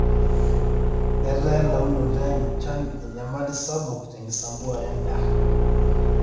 etaa elaunoto enchan enyamali sapuk te nkisampuare edaa